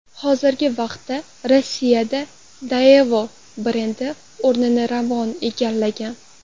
Hozirgi vaqtda Rossiyada Daewoo brendi o‘rnini Ravon egallagan.